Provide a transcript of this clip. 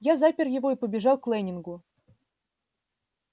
я запер его и побежал к лэннингу